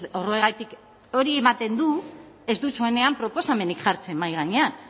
horregatik hori ematen du ez duzuenean proposamenik jartzen mahai gainean